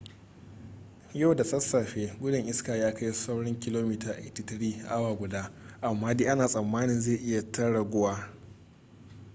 yau da sassafe gudun iska ya kai saurin kilomita 83 a awa guda amma dai ana tsammanin zai yi ta raguwa